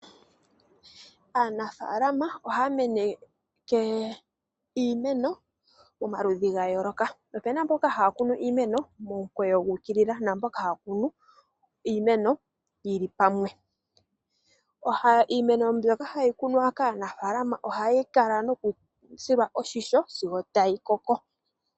Aanafaalama ohaa meneke iimeno momaludhi gayooloka. Opena mboka ha ya kunu iimeno momukweyo guukilila, naamboka ha ya kunu iimeno yi li pamwe. Iimeno mbyono ha yi kunwa kaanafaalama oha yi kala noku silwa oshisho, sigo ta yi koko.